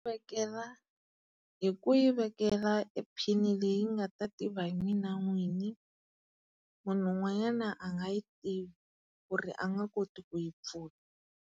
Vekela hi ku yi vekela e phini leyi nga ta tiva hi mina n'wini. Munhu un'wanyana a nga yi tivi ku ri a nga koti ku yi pfula.